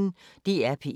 DR P1